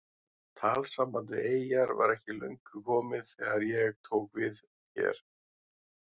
Talsamband við eyjar var ekki löngu komið þegar ég tók hér við.